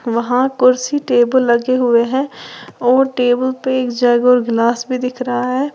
वहां कुर्सी टेबल लगे हुए हैं और टेबल पे एक जग और गलास भी दिख रहा है।